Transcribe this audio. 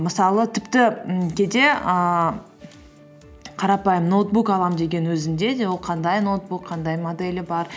мысалы тіпті ммм кейде ііі қарапайым ноутбук аламын деген өзінде де ол қандай ноутбук қандай моделі бар